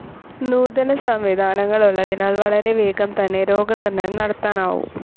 നൂതന സംവിധാനങ്ങൾ ഉള്ളതിനാൽ വളരെ വേഗം തന്നെ രോഗനിർണയം നടത്താനാവും.